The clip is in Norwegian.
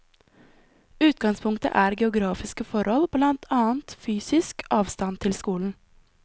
Utgangspunktet er geografiske forhold, blant annet fysisk avstand til skolen.